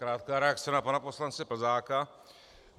Krátká reakce na pana poslance Plzáka.